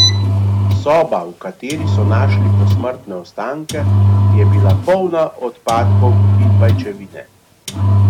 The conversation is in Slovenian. Soba, v kateri so našli posmrtne ostanke, je bila polna odpadkov in pajčevine.